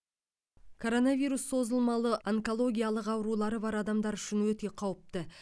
коронавирус созымалы онкологиялық аурулары бар адамдар үшін өте қауіпті